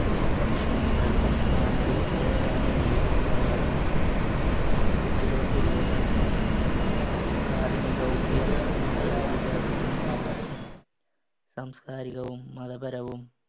ഭക്ഷണം, വെള്ളം, സാമൂഹിക സുരക്ഷ എന്നിവക്കുള്ള അവകാശം, കുട്ടികൾക്കുള്ള അവകാശങ്ങൾ, പ്രാഥമികവും ഉയർന്നതുമായ വിദ്യാഭ്യാസത്തിനും അവകാശം, സംസ്‌കാരികവും മതപരവും